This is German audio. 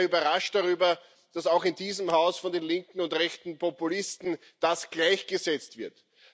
Ich bin daher überrascht darüber, dass das auch in diesem Haus von den linken und rechten Populisten gleichgesetzt wird.